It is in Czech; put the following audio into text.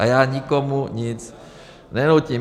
A já nikomu nic nenutím.